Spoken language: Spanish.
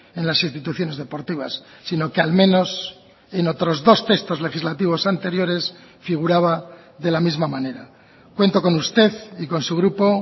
en las instituciones deportivas sino que al menos en otros dos textos legislativos anteriores figuraba de la misma manera cuento con usted y con su grupo